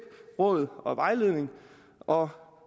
råd og vejledning og